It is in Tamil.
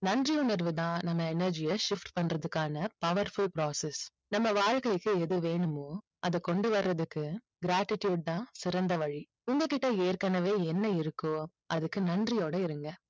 நன்றி உணர்வு தான் நம்ம energy ய shift பண்றதுக்கான powerful process நம்ம வாழ்க்கைக்கு எது வேணுமோ அதை கொண்டு வர்றதுக்கு gratitude தான் சிறந்த வழி. உங்ககிட்ட ஏற்கனவே என்ன இருக்கோ அதுக்கு நன்றியோட இருங்க.